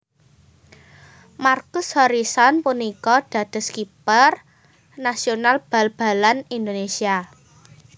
Markus Horison punika dados kiper nasional bal balan Indonésia